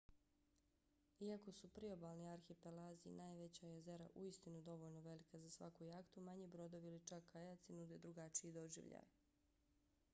iako su priobalni arhipelazi i najveća jezera uistinu dovoljno velika za svaku jahtu manji brodovi ili čak kajaci nude drugačiji doživljaj